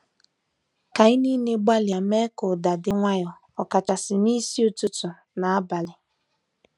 Ka anyị gbalịa mee ka ụda di nwayo, ọkachasị n'isi ụtụtụ na abalị.